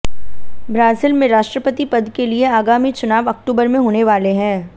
Brazil में राष्ट्रपति पद के लिए आगामी चुनाव अक्टूबर में होने वाले हैं